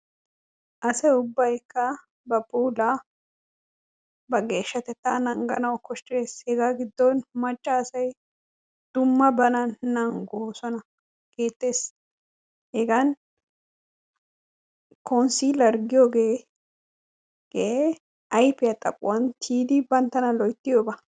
Asa ubbaykka ba puulaa ba geeshshatettaa nangganawu koshshees. Hegaa giddon macca asay dumma bana nanggoosona. Heettees. Hegan konssiileer giyogee gee ayfiya xaphuwan tiyidi banttana loyttiyooba.